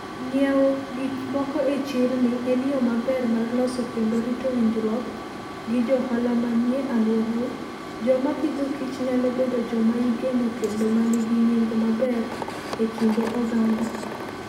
Ng'iewo gik moko e chirni en yo maber mar loso kendo rito winjruok gi johala manie alworau. Joma pidhokich nyalo bedo joma igeno kendo ma nigi nying' maber e kind oganda.